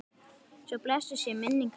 Svo blessuð sé minning hennar.